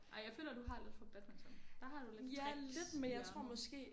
Ej jeg føler du har lidt fra badminton. Der har du lidt tricks i ærmet